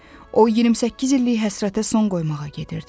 O 28 illik həsrətə son qoymağa gedirdi.